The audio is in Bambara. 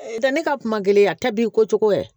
Tɛ ne ka kuma gɛlɛn yan ta b'i ko cogo yɛrɛ